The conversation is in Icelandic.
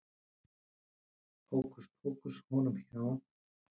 Hókuspókus honum hjá